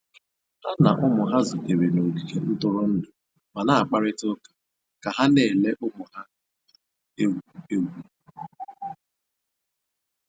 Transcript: Ha na ụmụ ha zutere n'ogige ntụrụndụ ma na-akparịta ụka ka ha na-ele ụmụ ha na-egwu egwu